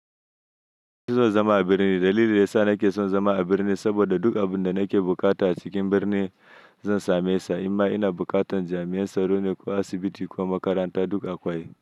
Ni zan zama a birni. Dalilin da ya sa nake son zama a birni saboda duk abun da nake buƙata a cikin birni zan same sa. Inma ina buƙatan jami'an tsaro ne ko asibiti ko makaranta duk akwai.